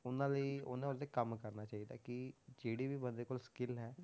ਉਹਨਾਂ ਲਈ ਉਹਨਾਂ ਵਾਸਤੇ ਕੰਮ ਕਰਨਾ ਚਾਹੀਦਾ ਕਿ ਜਿਹੜੀ ਵੀ ਬੰਦੇ ਕੋਲ skill ਹੈ,